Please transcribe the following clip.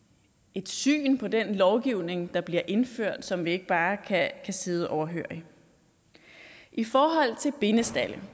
et syn på den lovgivning der bliver indført som vi ikke bare kan sidde overhørig i forhold til bindestalde